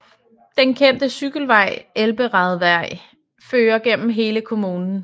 Den kendte cykelvej Elberadweg fører igennem hele kommunen